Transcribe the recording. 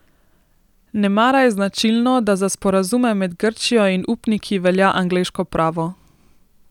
Nemara je značilno, da za sporazume med Grčijo in upniki velja angleško pravo.